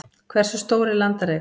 hversu stór er landareign